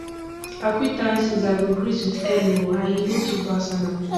acquaintances i go greet with hello or hi e no too personal